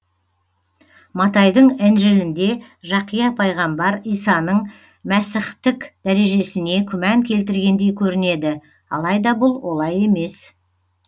матайдың інжілінде жақия пайғамбар исаның мәсіхтік дәрежесіне күмән келтіргендей көрінеді алайда бұл олай емес